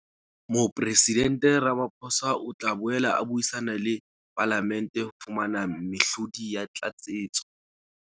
Mopresidente Ramaphosa o tla boela a buisana le Palamente ho fumana mehlodi ya tlatsetso.